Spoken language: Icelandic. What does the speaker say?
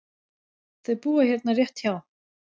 Þau búa hérna rétt hjá.